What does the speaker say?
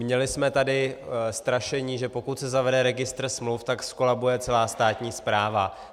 Měli jsme tady strašení, že pokud se zavede registr smluv, tak zkolabuje celá státní správa.